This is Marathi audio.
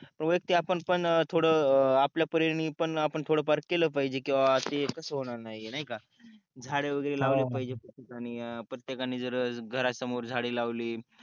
वायक्तिक आपण पण थोल आपला परेनी आपण थोळफार की झाळे वागेरे लावले पहजे प्रतेकाणे घरा समोर झाळे लावते